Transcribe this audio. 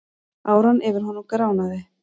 Áran yfir honum gránaði.